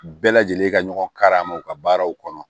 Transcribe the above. Bɛɛ lajɛlen ka ɲɔgɔn ka ma u ka baaraw kɔnɔ